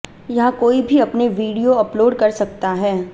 यहां कोई भी अपने वीडियो अपलोड कर सकता हैं